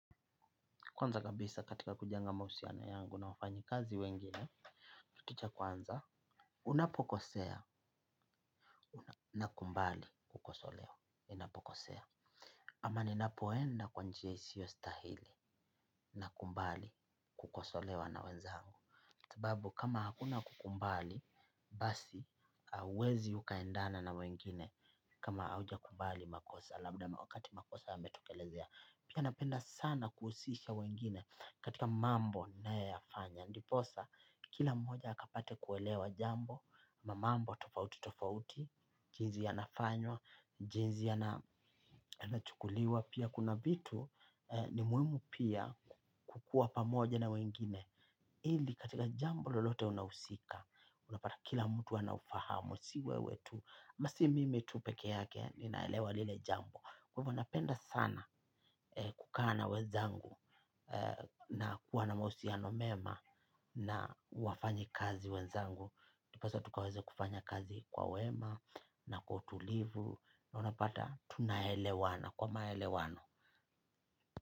Kwanza kabisa katika kujenga mahusiano yangu na wafanyi kazi wengine, kitu cha kwanza, unapokosea, unakumbali kukosolewa, unapokosea. Ama ninapoenda kwa njia isiyo stahili, nakumbali kukosolewa na wenzangu. Sababu kama hakuna kukumbali, basi, hauwezi ukaendana na wengine kama hauja kumbali makosa, labda na wakati makosa yametokelezea. Pia napenda sana kuhusisha wengine katika mambo nayo yafanya. Ndiposa kila mmoja akapate kuelewa jambo. Mambo tofauti tofauti jinzi ya nafanywa, jinzi ya na chukuliwa. Pia kuna vitu ni muhimu pia kukua pamoja na wengine. Ili katika jambo lolote unausika. Unapata kila mtu anaufahamu. Siwewe tu, ama si mimi tupeke yake ninaelewa lile jambo. Kwahivo napenda sana kukaa na wezangu na kuwa na mahusiano mema na wafanyi kazi wezangu. Tupasa tukaweze kufanya kazi kwa wema na kwa utulivu na unapata tunaelewana kwa maelewano.